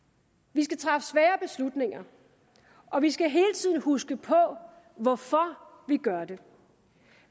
vi skal træffe svære beslutninger og vi skal hele tiden huske på hvorfor vi gør det